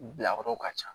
Bilayɔrɔw ka ca